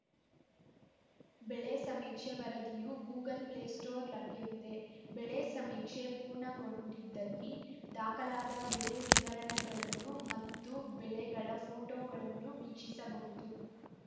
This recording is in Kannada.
ಬೆಳೆ ಸಮೀಕ್ಷೆ ವರದಿಯೂ ಗೂಗಲ್‌ ಪ್ಲೇ ಸ್ಟೋರ್ ಲಭ್ಯವಿದೆ ಬೆಳೆ ಸಮೀಕ್ಷೆ ಪೂರ್ಣಗೊಂಡಿದ್ದಲ್ಲಿ ದಾಖಲಾದ ಬೆಳೆ ವಿವರಗಳನ್ನು ಮತ್ತು ಬೆಳೆಗಳ ಫೋಟೋಗಳನ್ನು ವೀಕ್ಷಿಸಬಹುದು